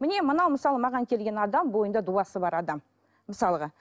міне мына мысалы маған келген адам бойында дуасы бар адам мысалға